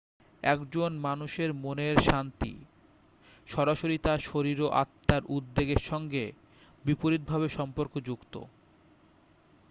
একজন মানুষের মনের শান্তি সরাসরি তার শরীর ও আত্মার উদ্বেগের সঙ্গে বিপরীত ভাবে সম্পর্কযুক্ত